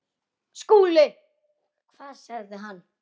SKÚLI: Hvað sagði hann?